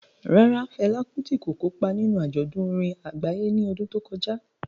Rárá, Fela Kuti kò kópa níbi àjọ̀dún orin àgbáyé ní ọdún tí ó kọjá.